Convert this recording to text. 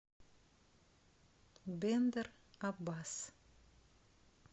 бендер аббас